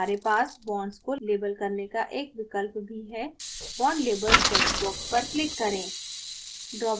हमारे पास bonds को label करने का एक विकल्प भी है bond labels text box पर click करें